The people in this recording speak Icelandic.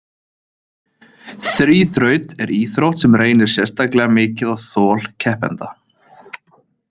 Þríþraut er íþrótt sem reynir sérstaklega mikið á þol keppenda.